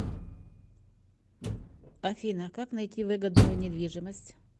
афина как найти выгодную недвижимость